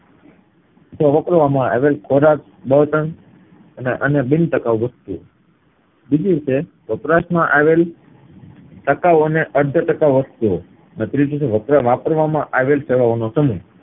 તો વાપરવામાં આવેલ ખોરાક, બળતણ અને અન્ય બિનટકાવ વસ્તુઓ બીજી રીતે વપરાશ માં આવેલ ટકાવ અને અર્ધટકાવ વસ્તુઓ ને ત્રીજી છે વાપ વાપરવામાં આવેલ સમય